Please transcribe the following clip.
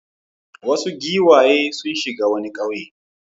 Wasu giwaye sun shiga wani ƙauye.